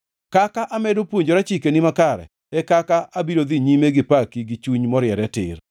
Kaka amedo puonjora chikeni makare e kaka abiro dhi nyime gi paki gi chuny moriere tir.